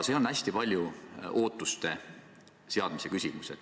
See on hästi paljuski ootuste seadmise küsimus.